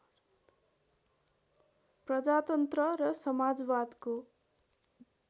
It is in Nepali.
प्रजातन्त्र र समाजवादको